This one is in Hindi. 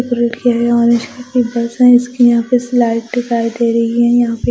ऑरेंज कलर की बस है और इसकी स्लाइड यहां पे दिखाई दे रही है यहां पे।